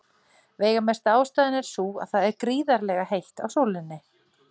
Veigamesta ástæðan er sú að það er gríðarlega heitt á sólinni.